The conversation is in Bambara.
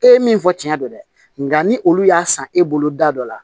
E ye min fɔ tiɲɛ don dɛ nka ni olu y'a san e bolo da dɔ la